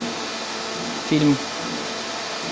фильм